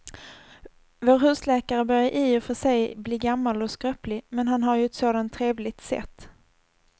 Vår husläkare börjar i och för sig bli gammal och skröplig, men han har ju ett sådant trevligt sätt!